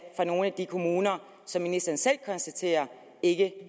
fra nogle af de kommuner som ministeren selv konstaterer ikke